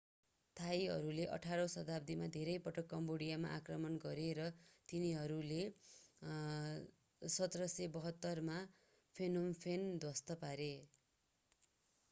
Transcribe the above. थाईहरूले 18 औं शताब्दीमा धेरै पटक कम्बोडियामा आक्रमण गरे र तिनीहरूले 1772 मा phnom phen ध्वस्त पारे